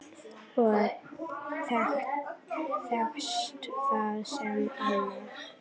Og tekst það sem annað.